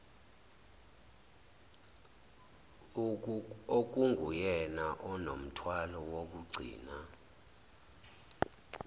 okunguyena onomthwalo wokugcina